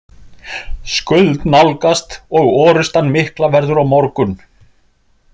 Skuld nálgast og orustan mikla verður á morgun.